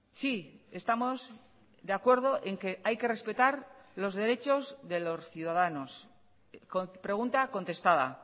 sí estamos de acuerdo en que hay que respetar los derechos de los ciudadanos pregunta contestada